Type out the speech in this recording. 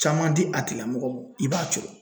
Caman di a tigila mɔgɔ ma i b'a jɔ